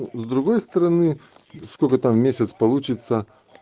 с другой стороны сколько там в месяц получится